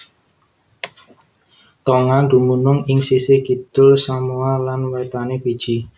Tonga dumunung ing sisih kidul Samoa lan wétané Fiji